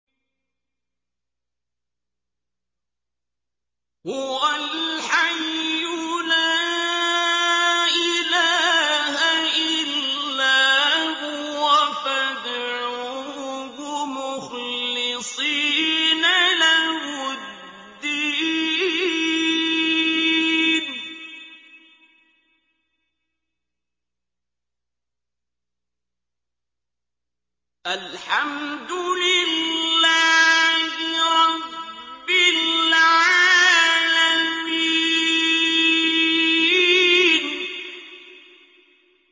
هُوَ الْحَيُّ لَا إِلَٰهَ إِلَّا هُوَ فَادْعُوهُ مُخْلِصِينَ لَهُ الدِّينَ ۗ الْحَمْدُ لِلَّهِ رَبِّ الْعَالَمِينَ